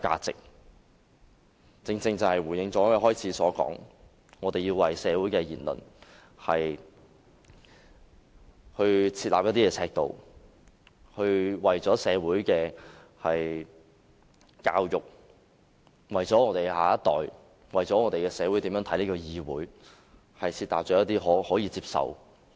這正好回應我發言開始時所說，我們要為社會的言論設立尺度，為社會的教育、為香港的下一代、為社會如何看待立法會議會，制訂可以接受的言論。